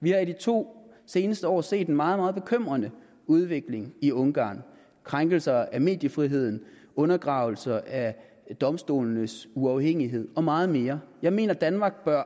vi har i de to seneste år set en meget meget bekymrende udvikling i ungarn krænkelser af mediefriheden undergravelser af domstolenes uafhængighed og meget mere jeg mener at danmark bør